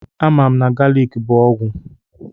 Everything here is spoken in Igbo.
A mam na galiki bụ ọgwụ.